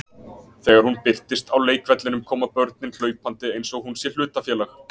Þegar hún birtist á leikvellinum koma börnin hlaupandi eins og hún sé hlutafélag.